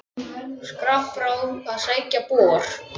Skrapp frá að sækja bor.